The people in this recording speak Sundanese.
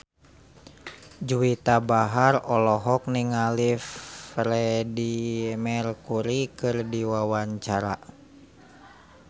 Juwita Bahar olohok ningali Freedie Mercury keur diwawancara